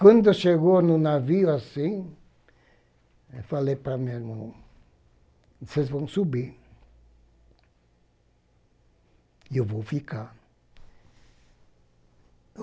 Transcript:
Quando chegou no navio assim, eu falei para o meu irmão, vocês vão subir e eu vou ficar.